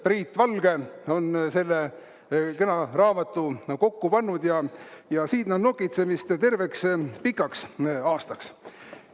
Priit Valge on selle kena raamatu kokku pannud ja siin on nokitsemist terveks pikaks aastaks.